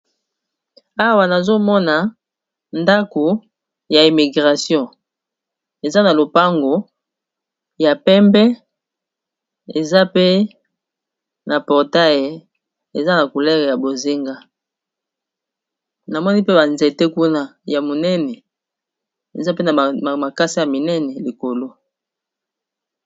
Awa nazomona ndako ya immigration eza na lopango ya pembe, eza pe na portae eza na culere ya bozinga namoni mpe banzete kuna ya monene eza pe na makasi ya minene likolo.